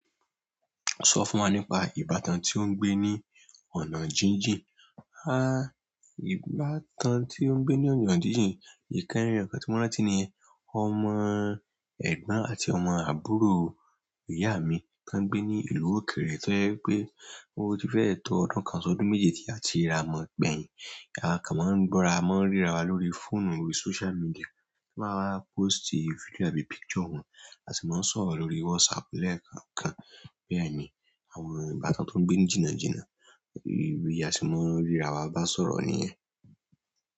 Sọ fún wa nípa ìbátan tí ó gbé ní ọ̀nà jíjì. Háì! Ìbátan tí ó ń gbé ní ọ̀nà jíjìn, ìkẹ́rì Ọ̀kẹ́ tímọ́rántínìni, ọmọ ẹ̀gbọ́n àti ọmọ àbúrò ìyá mi tó wọ́n ń gbé ní ìlú òkèèrè tó jẹ́ pé ó ti fẹ́ẹ̀ tọ ọdún kan ọsàn ọdún méje tí a ti rà á mọ̀ gbẹyín. A kan máa ń gbọ́ra mọ́ ríra wa lórí fóònù orí social media tí maa bá pósìtì fídíò àbí picture wọn. A sì máa ń sọ̀rọ̀ lórí WhatsApp lẹ́ẹ̀kan kan. Bẹ́ẹ̀ ni àwọn ìbátan tó ń gbé ìjìnnà jíjìnnà, ibi a sì máa ń ríra wa bá sọ̀rọ̀ nìyẹn.